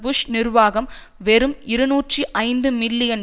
push நிர்வாகம் வெறும் இருநூற்றி ஐந்து மில்லியன்